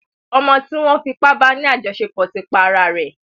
Ọmọ tí wọ́n fipá ba ní àjọṣepọ̀ ti pa ara rẹ̀.